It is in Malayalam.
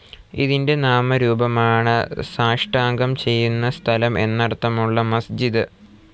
ഇതിൻ്റെ നാമരൂപമാണ് സാഷ്ടാംഗം ചെയ്യുന്ന സ്ഥലം എന്നർത്ഥമുളള മസ്ജിദ്.